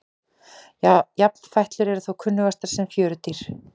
Jafnfætlur eru þó kunnugastar sem fjörudýr.